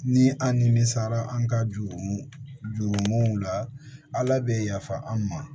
Ni an nimisara an ka jurumu jururumuw la ala bɛ yafa an' ma